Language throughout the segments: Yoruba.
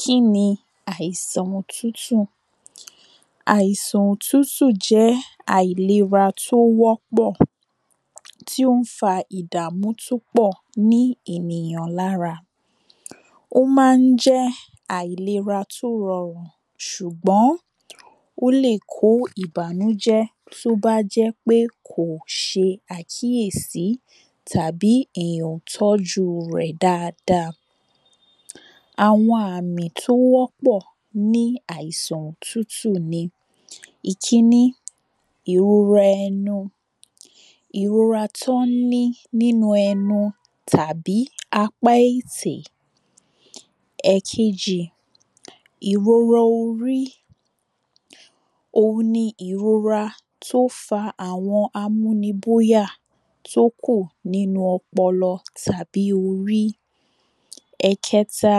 Kí ni àìsàn otútù Àìsàn òtútù jé̩ àìlera tó wó̩pò̩. Tí ó ń fa ìdàmú tó pò̩ ní ènìyàn lára. Ó má ń jé̩ àìlera tó ro̩rùn. S̩ùgbó̩n ó lè kó ìbànújé̩ tó jé̩ pé kò s̩e àkíyèsí tàbí èyàn ò tó̩jú rè̩ dáadáa. Àwo̩n àmì tó wó̩pò̩ ní àìsàn òtútù ni: Ìkíní, ìrora e̩nu. Ìrora tó̩n ní nínu e̩nu tàbí apá ètè. È̩kejì, ìrora orí. Ohun ni ìrora tó fa àwo̩n amúni bóyà tó kù nínú o̩po̩lo̩ tàbí orí. È̩ke̩ta,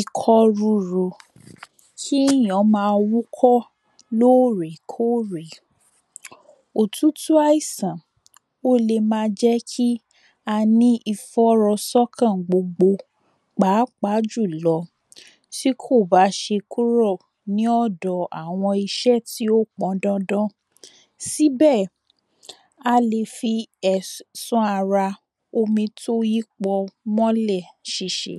ikó̩ rúru. Kí èyàn ma wúkó̩ lórèkórè. Òtútù àìsàn ó lè ma jé̩ kí a ní ìfó̩ro̩só̩kàn gbogbo. Pàápàá jùlo̩, tí kò bá s̩e kúrò ní ò̩dò̩ àwo̩n is̩é̩ tí ó po̩n dandan. Síbè̩ a lè fi è̩sán ara omi tó yí po̩n mó̩lè̩ sìsì.